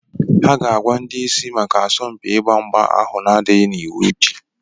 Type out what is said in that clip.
Ha ga-agwá ndị ịsị maka asọmpi igba mgbá ahú n'adịghị n'iwú echi